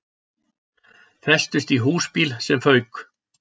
Festust í húsbíl sem fauk